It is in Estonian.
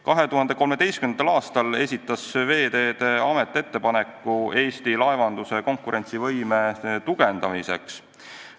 2013. aastal esitas Veeteede Amet ettepaneku Eesti laevanduse konkurentsivõime tugevdamiseks.